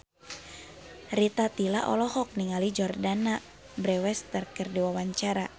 Rita Tila olohok ningali Jordana Brewster keur diwawancara